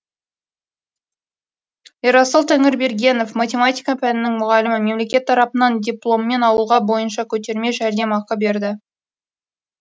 ерасыл тәңірбергенов математика пәнінің мұғалімі мемлекет тарапынан дипломмен ауылға бойынша көтерме жәрдемақы берді